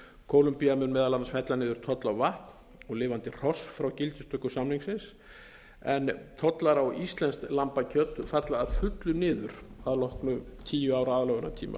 kólumbía mun meðal annars fella niður tolla á vatn og lifandi hross frá gildistöku samningsins en tollar á íslenskt lambakjöt falla að fullu niður að loknum tíu ára aðlögunartíma